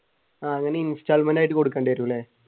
ആഹ് അങ്ങനെ installment ആയിട്ട് കൊടുക്കേണ്ടി വരുമല്ലേ?